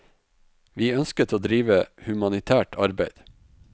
Vi ønsket å drive humanitært arbeid.